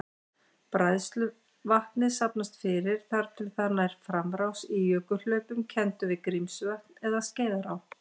Bræðsluvatnið safnast fyrir þar til það nær framrás í jökulhlaupum kenndum við Grímsvötn eða Skeiðará.